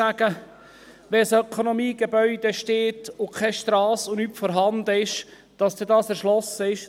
Wenn ein Ökonomiegebäude besteht und keine Strasse und nichts vorhanden ist, kann man nicht einfach sagen, dass es dann erschlossen ist.